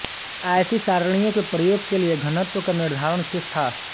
ऐसी सारणियों के प्रयोग के लिए घनत्व का निर्धारण शेष था